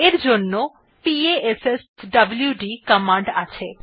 এই জন্য পাশ্বদ কমান্ড আছে